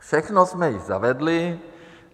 Všechno jsme již zavedli.